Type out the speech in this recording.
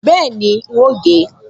Bẹ́ẹ̀ni, n óò gé e